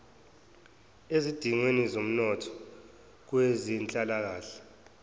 ezidingweni zomnotho kwezenhlalakahle